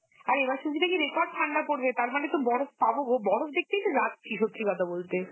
আর এবার শুনছি নাকি record ঠান্ডা পড়বে তার মানে তো বরফ পাবো গো, বরফ দেখতেই তো যাচ্চি সত্যি কথা বলতে.